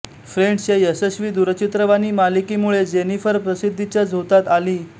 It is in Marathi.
फ्रेण्ड्स ह्या यशस्वी दुरचित्रवाणी मालिकेमुळे जेनिफर प्रसिद्धीच्या झोतात आली